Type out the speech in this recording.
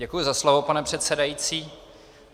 Děkuji za slovo, pane předsedající.